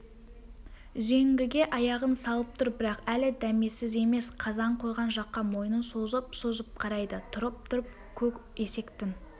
үзеңгіге аяғын салып тұр бірақ әлі дәмесіз емес қазан қойған жаққа мойнын созып-созып қарайды тұрып-тұрып көк есектің